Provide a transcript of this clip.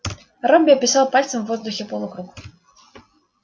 робби описал пальцем в воздухе полукруг